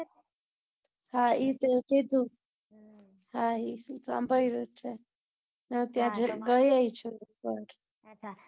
હા એ તે કીધું હા એ તો સાંભળ્યું ત્યાં ગઈ એ છું મઢ